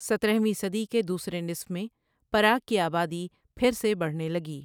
سترہ ویں صدی کے دوسرے نصف میں پراگ کی آبادی پھر سے بڑھنے لگی۔